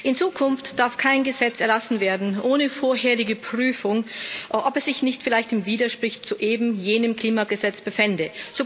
In Zukunft darf kein Gesetz erlassen werden ohne vorherige Prüfung, ob es sich nicht vielleicht im Widerspruch zu eben jenem Klimagesetz befände.